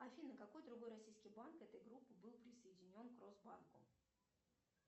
афина какой другой российский банк этой группы был присоединен к росбанку